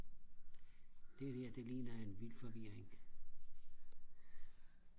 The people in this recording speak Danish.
det der det ligner en vild forvirring